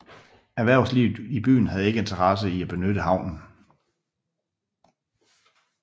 Erhvervslivet i byen havde ikke interesse i at benytte havnen